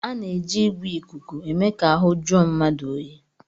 A na-eji igwè ìkùkù eme ka ahụ jụọ mmadụ oyi